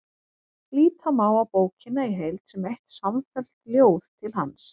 Líta má á bókina í heild sem eitt samfellt ljóð til hans.